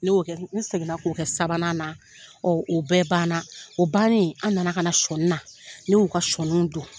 Ne y'o kɛ. N seginna k'o kɛ sabanan na, o bɛɛ bana . O bannen, an nana ka na sɔni na, ne y'u ka sɔniw don.